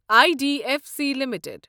I D F C limited